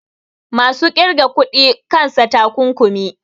masu ƙirga kuɗi kansa takunkumi